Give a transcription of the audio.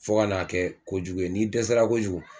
Fɔ ka n'a kɛ kojugu ye n'i dɛsɛra kojugu